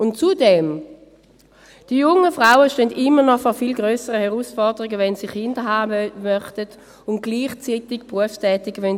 Und zudem: Die jungen Frauen stehen noch vor viel grösseren Herausforderungen, wenn sie Kinder haben wollen und gleichzeitig berufstätig sein wollen.